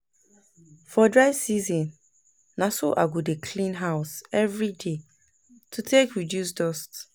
for dry season, na so I go dey clean house evri day to take reduce dust